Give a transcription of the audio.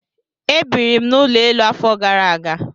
E biirim n'ụlọ elu afọ gara aga.